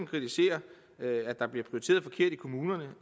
kritiserer at der bliver prioriteret forkert i kommunerne